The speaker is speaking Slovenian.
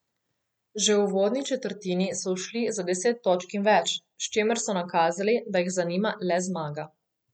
Že v uvodni četrtini so ušli za deset točk in več, s čimer so nakazali, da jih zanima le zmaga.